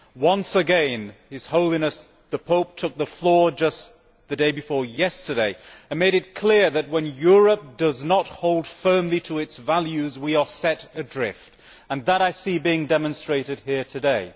Once again, his Holiness the Pope took the floor just the day before yesterday and made it clear that when Europe does not hold firmly to its values, we are set adrift, and that I see being demonstrated here today.